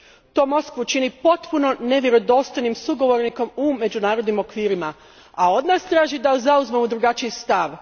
To Moskvu čini potpuno nevjerodostojnim sugovornikom u međunarodnim okvirima, a od nas traži da zauzmemo drugačiji stav.